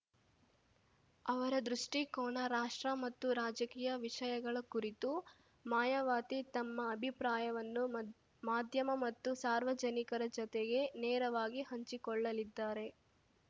ಅವರ ದೃಷ್ಟಿಕೋನ ರಾಷ್ಟ್ರ ಮತ್ತು ರಾಜಕೀಯ ವಿಷಯಗಳ ಕುರಿತು ಮಾಯಾವತಿ ತಮ್ಮ ಅಭಿಪ್ರಾಯವನ್ನು ಮದ್ ಮಾಧ್ಯಮ ಮತ್ತು ಸಾರ್ವಜನಿಕರ ಜೊತೆಗೆ ನೇರವಾಗಿ ಹಂಚಿಕೊಳ್ಳಲಿದ್ದಾರೆ